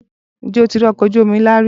Ǹjẹ́ o ti rí ọkọ̀ ojú omi ńlá rí?